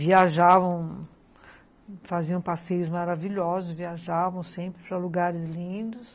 Viajavam, faziam passeios maravilhosos, viajavam sempre para lugares lindos.